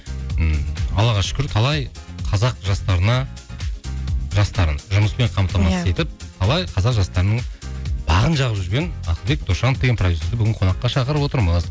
ііі аллаға шүкір талай қазақ жастарына жастарын жұмыспен қамтамасыз етіп талай қазақ жастарының бағын жағып жүрген ақылбек досжанов деген продюссерді бүгін қонаққа шақырып отырмыз